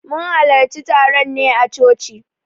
Mun hallarci taron ne a coci.